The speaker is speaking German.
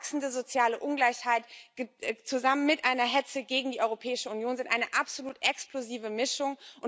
Wachsende soziale Ungleichheit zusammen mit einer Hetze gegen die Europäische Union sind eine absolut explosive Mischung.